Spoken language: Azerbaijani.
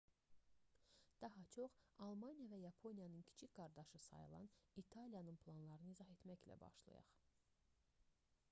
daha çox almaniya və yaponiyanın kiçik qardaşı sayılan i̇taliyanın planlarını izah etməklə başlayaq